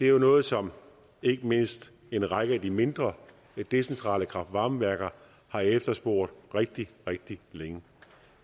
jo noget som ikke mindst en række af de mindre decentrale kraft varme værker har efterspurgt rigtig rigtig længe